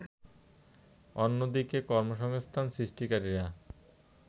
অন্যদিকে কর্মসংস্থান সৃষ্টিকারীরা